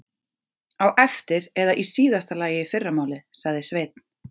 Á eftir eða í síðasta lagi í fyrramálið, sagði Sveinn.